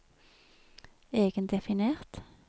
egendefinert